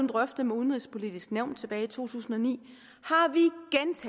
drøftet med udenrigspolitisk nævn tilbage i to tusind og ni